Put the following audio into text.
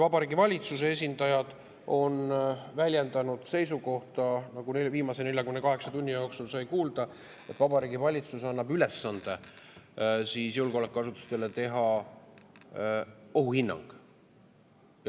Vabariigi Valitsuse esindajad on selles kontekstis väljendanud seisukohta, nagu viimase 48 tunni jooksul sai kuulda, et Vabariigi Valitsus annab ülesande julgeolekuasutustele teha ohuhinnang.